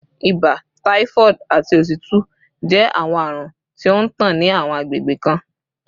Ibà, typhoid, ati otutu jẹ awọn arun ti o ntan ni awọn agbegbe kan